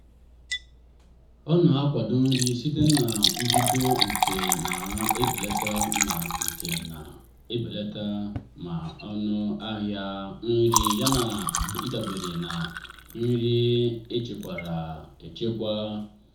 ọ na-akwado nri site na mbido nke na-ebelata ma nke na-ebelata ma ọnụ ahịa nri yana ịdabere na nri echekwara echekwa.